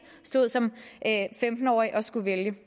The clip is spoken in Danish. stod som femten årig og skulle vælge